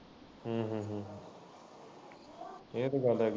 ਹੂੰ ਹੂੰ ਹੂੰ ਏਹ ਤਾਂ ਗੱਲ ਹੈਗੀ ਐ।